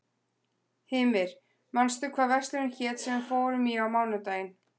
Hymir, manstu hvað verslunin hét sem við fórum í á mánudaginn?